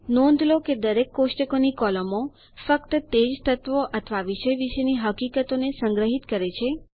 નોંધ લો કે દરેક કોષ્ટકની કોલમો ફક્ત તે જ તત્વો અથવા વિષય વિશેની હકીકતોને સંગ્રહીત કરે છે